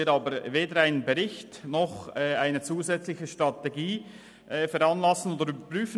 Wir müssen aber weder einen Bericht noch eine zusätzliche Strategie veranlassen oder überprüfen.